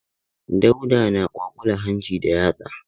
Dauda na kwaƙular hanci da yatsa.